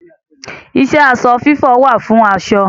Iṣẹ́ aṣọ fífọ̀ wà fún aṣọ.